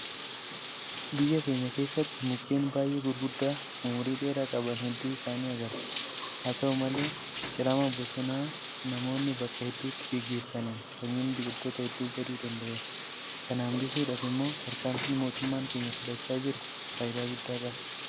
Biyya keenya keessatti mukkeen baay'ee guguddaa ummurii dheeraa qaban hedduu isaanii agarra. Haata'u malee cirama bosonaa namoonni bakka hedduutti gaggeessaniin sanyiin biqiloota hedduu baduu danda'eera. Kana hanbisuudhaaf immoo tarkaanfiin mootummaan keenya fudhachaa jiru faayidaa guddaa qaba.